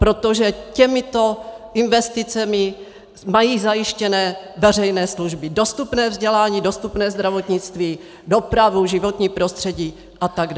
Protože těmito investicemi mají zajištěné veřejné služby, dostupné vzdělání, dostupné zdravotnictví, dopravu, životní prostředí atd.